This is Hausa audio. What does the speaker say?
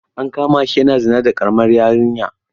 An kama shi yana zina da ƙaramar yarinya.